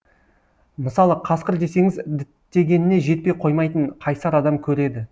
мысалы қасқыр десеңіз діттегеніне жетпей қоймайтын қайсар адам көреді